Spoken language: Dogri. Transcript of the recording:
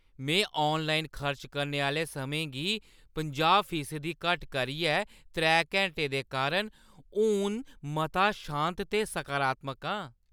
में ऑनलाइन खर्च करने आह्‌ले समें गी पंजाह् फीसदी घट्ट करियै त्रै घैंटे करने दे बाद हून मता शांत ते सकारात्मक आं।